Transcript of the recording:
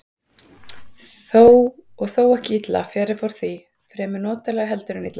Og þó ekki illa, fjarri fór því, fremur notalega heldur en illa.